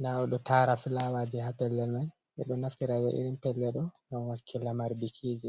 Ɗa oɗo tara fulawaji ha pellel man. be ɗo naftira irin pellel ɗo non wakki lamar bikiji.